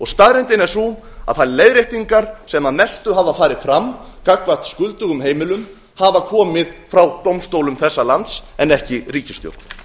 staðreyndin er sú að þær leiðréttingar sem að mestu hafa farið fram gagnvart skuldugum heimilum hafa komið frá dómstólum þessa lands en ekki ríkisstjórn